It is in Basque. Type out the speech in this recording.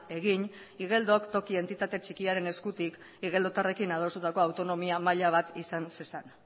egin igeldok toki entitate txikiaren eskutik igeldotarrekin adostutako autonomia maila bat izan zezan